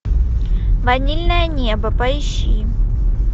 ванильное небо поищи